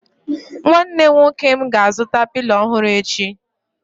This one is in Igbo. Nwanne nwoke m ga-azụta Pilo ọhụrụ echi